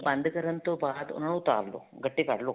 ਬੰਦ ਕਰਨ ਤੋਂ ਬਾਅਦ ਉਹਨਾ ਨੂੰ ਉਤਾਰ ਲਵੋ ਗੱਟੇ ਕੱਢਲੋ